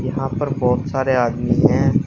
यहां पर बहुत सारे आदमी हैं।